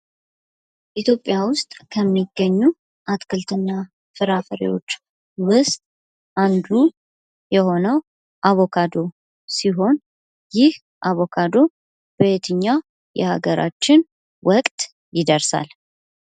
ኢትዮጵያ ውስጥ ከሚገኙ አትክልትና ፍራፍሬዎች ውስጥ አንዱ የሆነው አቮካዶ ሲሆን ይህ አቮካዶ በየትኛው የሃገራችን ወቅት ይደርሳል?